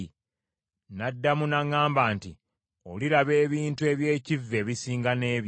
N’addamu n’aŋŋamba nti, “Oliraba ebintu eby’ekivve ebisinga n’ebyo.”